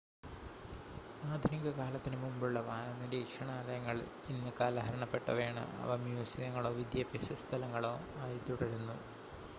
ആധുനിക കാലത്തിനു മുമ്പുള്ള വാനനിരീക്ഷണാലയങ്ങൾ ഇന്ന് കാലഹരണപ്പെട്ടവയാണ് അവ മ്യൂസിയങ്ങളോ വിദ്യാഭ്യാസ സ്ഥലങ്ങളോ ആയി തുടരുന്നു